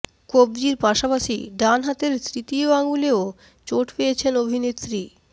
কব্জির পাশাপাশি ডান হাতের তৃতীয় আঙ্গুলেও চোট পেয়েছেন অভিনেত্রী